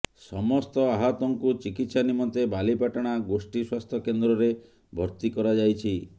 ସମସ୍ତ ଆହତଙ୍କୁ ଚିକିତ୍ସା ନିମନ୍ତେ ବାଲିପାଟଣା ଗୋଷ୍ଠୀ ସ୍ୱାସ୍ଥ୍ୟ କେନ୍ଦ୍ରରେ ଭର୍ତ୍ତି କରାଯାଇଛି